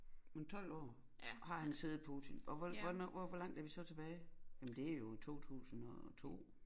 Men 12 år har han siddet Putin og hvor hvornår og hvor langt er vi så tilbage jamen det er jo i 2002